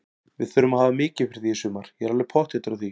Við þurfum að hafa mikið fyrir því í sumar, ég er alveg pottþéttur á því.